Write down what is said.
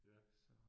Ja